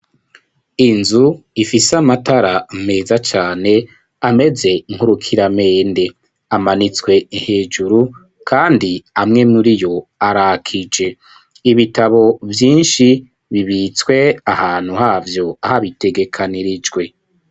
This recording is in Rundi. Inzu, ifise amatara, meza cane, ameze nk'urukiramende, amanitswe hejuru, kandi amwe muri yo, arakije; ibitabo vyinshi, bibitswe ahantu havyo, habitegekanirijwe.